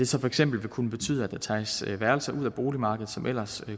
så for eksempel vil kunne betyde at der tages værelser ud af boligmarkedet som ellers